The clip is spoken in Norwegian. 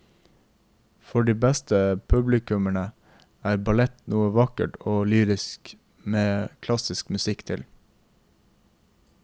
For de fleste publikummere er ballett noe vakkert og lyrisk med klassisk musikk til.